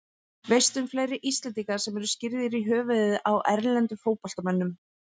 Veistu um fleiri Íslendinga sem eru skírðir í höfuðið á erlendum fótboltamönnum?